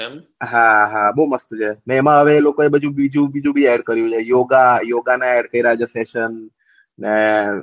હા હા બહુ મસ્ત છે અને એમાં એ લોકો ને બધી બીજું બીજું ભી એડ કર્યું છે યોગા યોગા ના એડ કરેલા છે સેસન ને